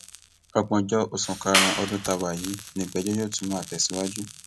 ọgbọnjọ oṣù karùnún ọdún tá a wà yìí ni ìgbẹjọ yóò tún máa tẹsíwájú